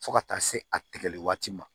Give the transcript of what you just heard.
Fo ka taa se a tigɛli waati ma